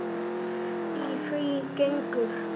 Í því gengur